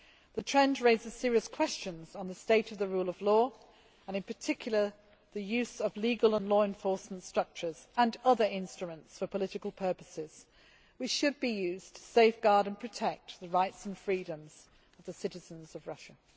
This trend raises serious questions on the state of the rule of law and, in particular, the use of legal and law enforcement structures and other instruments for political purposes, which should be used to safeguard and protect the rights and freedoms of the citizens of Russia.